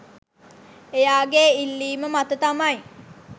එයාගේ ඉල්ලීම මත තමයි